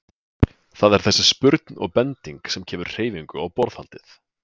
Það er þessi spurn og bending sem kemur hreyfingu á borðhaldið.